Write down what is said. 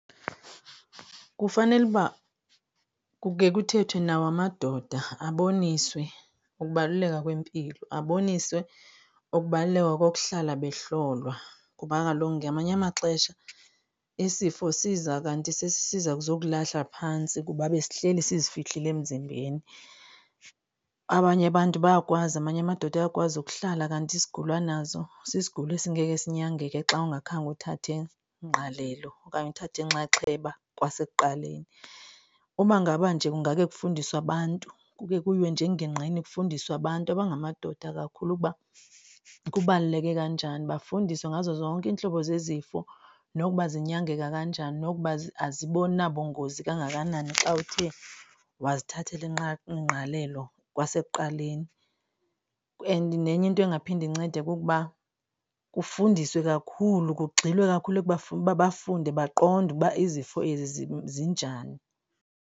Kufanele uba kukhe kuthethwe nawo amadoda aboniswe ukubaluleka kwempilo. Aboniswe ukubaluleka kokuhlala behlolwa kuba kaloku ngamanye amaxesha isifo siza kanti sesi sisiza kuzo kulahla phantsi kuba besihleli sizifihlile emzimbeni. Abanye abantu bayakwazi, amanye amadoda ayakwazi ukuhlala kanti isigulo anazo sisigulo esingeke sinyangeke xa ungakhange uthathe ingqalelo okanye uthathe inxaxheba kwasekuqaleni. Uba ngaba nje kungake kufundiswe abantu kukhe kuyiwe nje engingqini kufundiswe abantu abangamadoda kakhulu ukuba kubaluleke kanjani bafundiswe ngazo zonke iintlobo zezifo nokuba zinyangeka kanjani nokuba azinabungozi kangakanani xa uthe wasithathela ingqalelo kwasekuqaleni. And nenye into engaphinde incede kukuba kufundiswe kakhulu kugxilwe kakhulu ukuba bafunde baqonde uba izifo ezi zinjani.